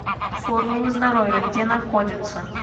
формула здоровья где находится